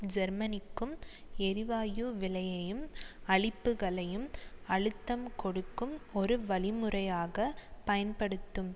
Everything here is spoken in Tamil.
ஜேர்மனிக்கும் எரிவாயு விலையையும் அளிப்புகளையும் அழுத்தம் கொடுக்கும் ஒரு வழிமுறையாக பயன்படுத்தும்